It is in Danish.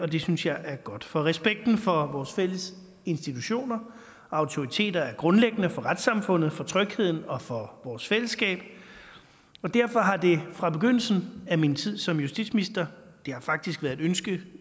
det synes jeg er godt for respekten for vores fælles institutioner og autoriteter er grundlæggende for retssamfundet for trygheden og for vores fællesskab og derfor har det fra begyndelsen af min tid som justitsminister det har faktisk været et ønske